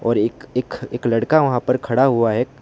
एक एक लड़का वहां पर खड़ा हुआ है।